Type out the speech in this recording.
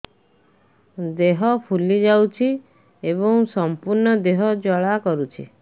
ଦେହ ଫୁଲି ଯାଉଛି ଏବଂ ସମ୍ପୂର୍ଣ୍ଣ ଦେହ ଜ୍ୱାଳା କରୁଛି